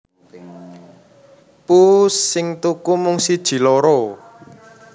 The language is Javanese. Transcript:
Pusss sing tuku mung siji loro